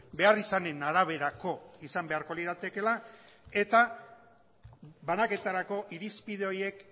beharrizanen araberako izan beharko liratekeela eta banaketarako irizpide horiek